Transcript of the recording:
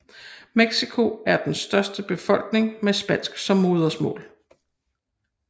Mexico har den største befolkning med spansk som modersmål